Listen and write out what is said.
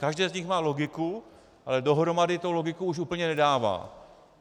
Každé z nich má logiku, ale dohromady to logiku už úplně nedává.